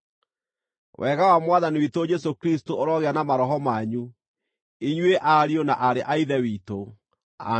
Wega wa Mwathani witũ Jesũ Kristũ ũrogĩa na maroho manyu, inyuĩ ariũ na aarĩ a Ithe witũ. Ameni.